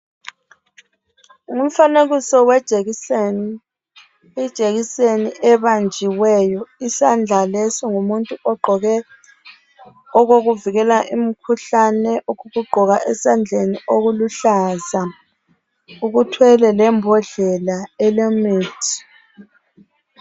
Umfanekiso wejekiseni. Ijekiseni ebanjiweyo isandla leso ngumuntu ogqoke okokuvikela imikhuhlane okokugqoka esandleni okuluhlaza. Uthwele lembokela elemithi.